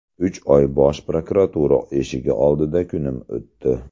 Uch oy Bosh prokuratura eshigi oldida kunim o‘tdi.